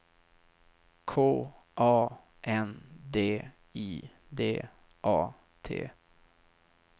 K A N D I D A T